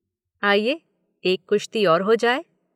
आइए, एक कुश्ति और हो जाए